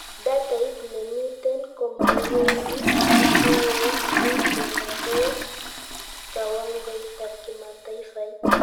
Datait nemiten komaiyoni kituoit ni kendaa koe kawangoitab kimataifait